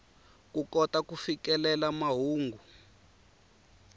ku kota ku fikelela mahungu